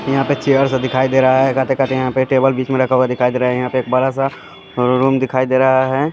यहाँ पे चेयर सा दिखाई दे रहा है खाते-खाते पे टेबल बीच में रखा हुआ दिखाई दे रहा है यहाँ पे एक बड़ा सा रूम दिखाई दे रहा है।